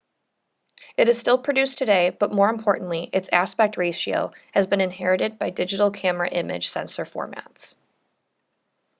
it is still produced today but more importantly its aspect ratio has been inherited by digital camera image sensor formats